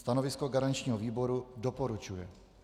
Stanovisko garančního výboru: doporučuje.